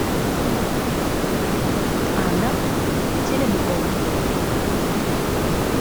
анна теренкова